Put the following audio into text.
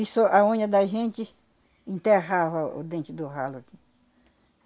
Isso, a unha da gente enterrava o dente do ralo aqui.